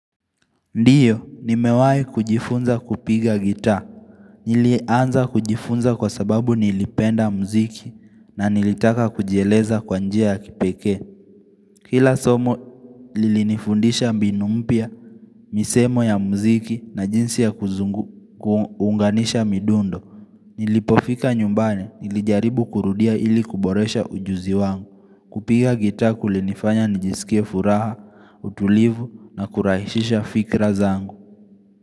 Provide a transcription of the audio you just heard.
Ndiyo, nimewai kujifunza kupiga gita. Nili anza kujifunza kwa sababu nilipenda mziki na nilitaka kujieleza kwanjia ya kipeke. Kila somo, lilinifundisha mbinu mpya, misemo ya mziki na jinsi ya kuunganisha midundo. Nilipofika nyumbani, nilijaribu kurudia ili kuboresha ujuzi wangu. Kupiga gita kulinifanya nijisikie furaha, utulivu na kurahisisha fikra zangu.